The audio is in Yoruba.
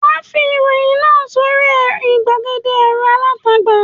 Wà á fi ìròyìn náà sórí àwọn ìgbàgede ẹ̀rọ alátagbà.